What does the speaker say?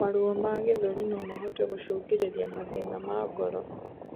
Maruo ma gĩthũri nomahote gũcũngĩrĩrĩa mathĩna ma ngoro